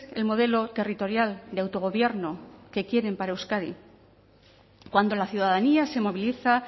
el modelo territorial de autogobierno que quieren para euskadi cuando la ciudadanía se moviliza